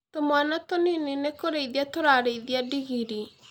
Tũmwana tũnini nĩ kũrĩithia turarĩithia ndigiri